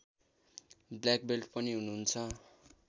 black belt पनि हुनुहुन्छ